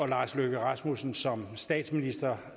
lars løkke rasmussen som statsminister